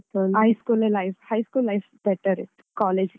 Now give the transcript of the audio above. High school ಯೆ life , high school better ಇತ್ತು college ಗಿಂತ.